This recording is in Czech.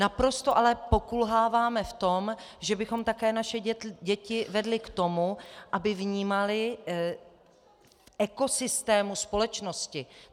Naprosto ale pokulháváme v tom, že bychom také naše děti vedli k tomu, aby vnímaly ekosystém společnosti.